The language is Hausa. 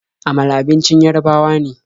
Amala abincin Yarabawa ne.